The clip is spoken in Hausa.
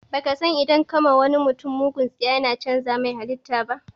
Baka san idan ka wa mutum bugun tsiya yana cànza mai halita ba?